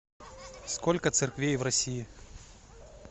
сколько церквей в россии